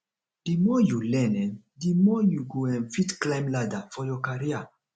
the more you learn um the more you go um fit climb ladder for your career